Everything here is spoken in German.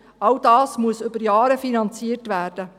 All das muss über Jahre finanziert werden.